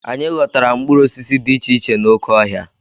Anyị ghọtara mkpụrụ osisi dị iche iche n'oké ọhịa.